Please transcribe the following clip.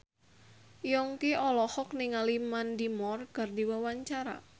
Yongki olohok ningali Mandy Moore keur diwawancara